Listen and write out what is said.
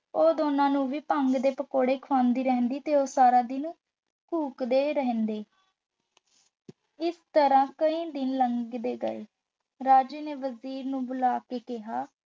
ਉਹ ਦੋਨਾ ਨੂੰ ਵੀ ਭੰਗ ਦੇ ਪਕੌੜੇ ਖੁਆਂਦੀ ਰਹਿੰਦੀ ਤੇ ਉਹ ਸਾਰਾ ਦਿਨ ਉੱਘਦੇ ਰਹਿੰਦੇ। ਇਸ ਤਰ੍ਹਾਂ ਕਈ ਦਿਨ ਲੰਘ ਗਏ ਰਾਜੇ ਨੇ ਵਜ਼ੀਰ ਨੂੰ ਬੁਲਾ ਕੇ ਕਿਹਾ,